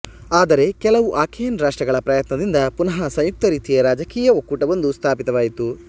ಆದರೆ ಕೆಲವು ಅಕೇಯನ್ ರಾಷ್ಟ್ರಗಳ ಪ್ರಯತ್ನದಿಂದ ಪುನಃ ಸಂಯುಕ್ತರೀತಿಯ ರಾಜಕೀಯ ಒಕ್ಕೂಟವೊಂದು ಸ್ಥಾಪಿತವಾಯಿತು